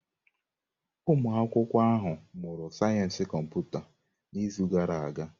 Ụmụ akwụkwọ ahụ mụrụ sayensị kọmputa n'izu gara aga.